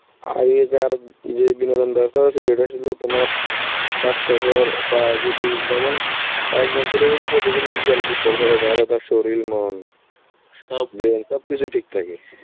আগেকার উম যে বিনোদন ব্যবস্থা হয়েছিল সেটা ছিল তোমার স্বাস্থ্যকর, বা যদি যেমন একজন ছেলে যদি প্রতিদিন বিকালে football খেলে তাহলে তার শরীর মন overload brain সবকিছুই ঠিক থাকে.